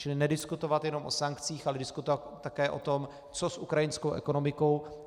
Čili nediskutovat jenom o sankcích, ale diskutovat také o tom, co s ukrajinskou ekonomikou.